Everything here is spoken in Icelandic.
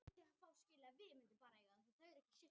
Þar er átt við sett lög frá Alþingi.